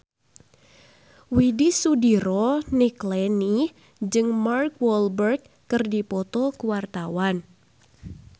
Widy Soediro Nichlany jeung Mark Walberg keur dipoto ku wartawan